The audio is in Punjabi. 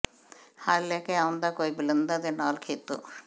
ਹਲ ਲੈ ਕੇ ਆਓਂਦਾ ਕੋਈ ਬਲਦਾਂ ਦੇ ਨਾਲ ਖੇਤੋਂ